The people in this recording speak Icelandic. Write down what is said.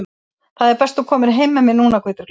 Það er best þú komir heim með mér núna, Guðbjörg litla.